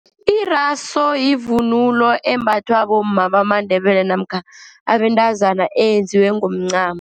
Iraso yivunulo embathwa bomma bamaNdebele namkha abentazana, eyenziwe ngomncamo.